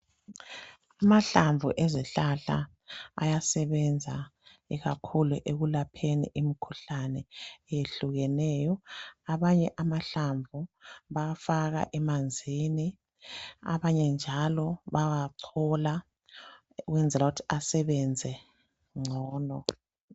Amahlamvu ezihlahla ayasebenza ikakhulu ekulapheni imkhuhlane eyehlukeneyo , abanye amahlamvu bayafaka emanzini abanye njalo bayawachola ukwenzela ukuthi asebenze ngcono